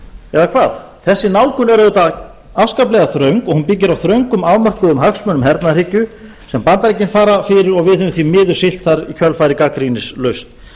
eða hvað þessi nálgun er auðvitað afskaplega þröng og hún byggir á þröngum afmörkuðum hagsmunum hernaðarhyggju sem bandaríkin svara fyrir og við höfum því miður siglt þar í kjölfarið gagnrýnislaust